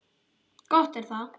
Gott er það.